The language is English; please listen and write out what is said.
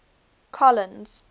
collins